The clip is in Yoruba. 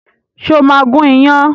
Ṣé o máa gún iyán